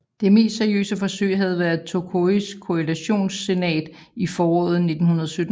Det mest seriøse forsøg havde været Tokois koalitionssenat i foråret 1917